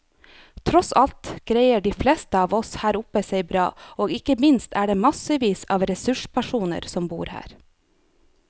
Tross alt greier de fleste av oss her oppe seg bra, og ikke minst er det massevis av ressurspersoner som bor her.